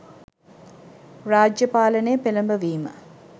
රාජ්‍ය පාලනය පෙළඹවීම